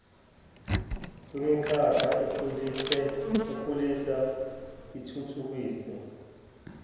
kwimikhakha ekhulisa ithuthukise